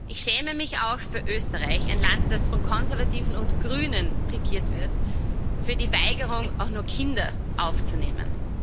Ich schäme mich auch für Österreich, ein Land das von Konservativen und Grünen regiert wird, für die Weigerung, auch nur Kinder aufzunehmen.